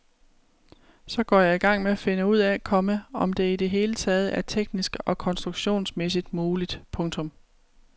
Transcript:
Så går jeg i gang med at finde ud af, komma om det i det hele taget er teknisk og konstruktionsmæssigt muligt. punktum